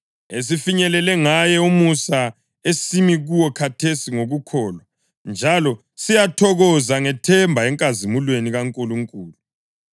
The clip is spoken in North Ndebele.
esifinyelele ngaye umusa esimi kuwo khathesi ngokukholwa. Njalo siyathokoza ngethemba enkazimulweni kaNkulunkulu.